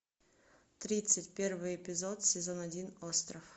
тридцать первый эпизод сезон один остров